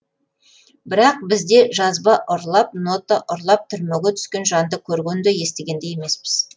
бірақ бізде жазба ұрлап нота ұрлап түрмеге түскен жанды көрген де естіген де емеспіз